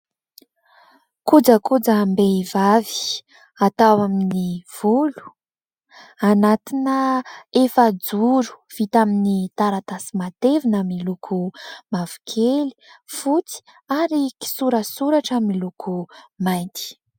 koja koja-mbehivavy atao amin'ny volo, anatina efa joro vita amin'ny taratasy matevina : miloko mavokely, fotsy ary kisoratsoratra miloko mainty.